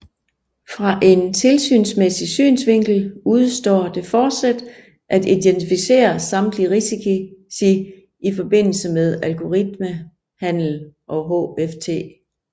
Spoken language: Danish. Fra en tilsynsmæssig synsvinkel udestår det fortsat at identificere samtlige risici i forbindelse med algoritmehandel og HFT